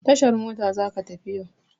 Tashar mota za ka tafi yau!